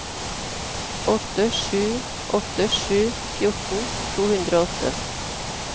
åtte sju åtte sju fjorten to hundre og åtte